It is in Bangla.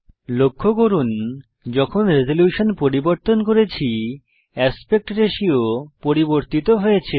লক্ষ্য করুন যখন রেজল্যুশন পরিবর্তন করেছি অ্যাসপেক্ট রাতিও পরিবর্তিত হয়েছে